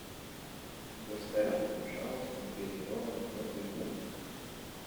доставь мне пожалуйста негазированной воды